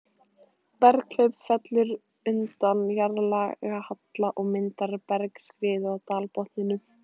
Berghlaup fellur undan jarðlagahalla og myndar bergskriðu á dalbotninum.